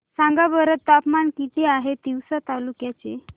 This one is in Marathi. सांगा बरं तापमान किती आहे तिवसा तालुक्या चे